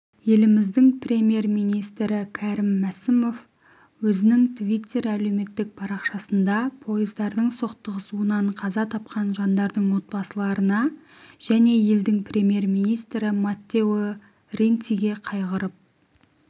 еліміздің премьер-министрі кәрім мәсімов өзінің твиттер әлеуметтік парақшасында пойыздардың соқтығысуынан қаза тапқан жандардың отбасыларына және елдің премьер-министрі маттео ренциге қайғырып